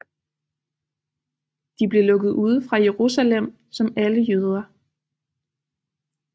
De blev lukket ude fra Jerusalem som alle jøder